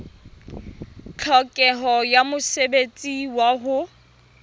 tlhokeho ya mosebetsi wa ho